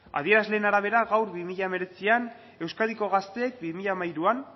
adierazleen arabera gaur bi mila hemeretzian euskadiko gazteek bi mila hamairuan